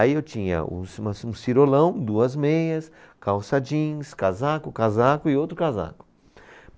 Aí eu tinha um ci, uma ci, um cirolão, duas meias, calça jeans, casaco, casaco e outro casaco.